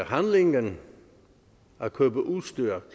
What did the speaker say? handlingen at købe udstyr